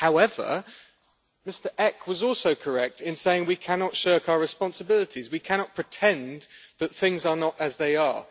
However, Mr Eck was also correct in saying we cannot shirk our responsibilities. We cannot pretend that things are not as they are.